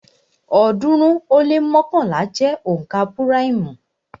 ọ̀ọ́dúnrún ó lé mọ́kànlá jẹ́ onka púráìmù